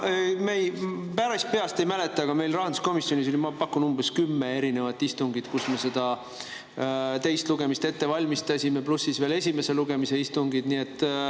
Ma päris peast ei mäleta, aga meil rahanduskomisjonis oli, ma pakun, umbes kümme istungit, kus me teist lugemist ette valmistasime, pluss esimese lugemise istungid.